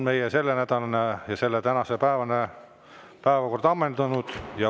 Meie tänane ja selle nädala päevakord on ammendunud.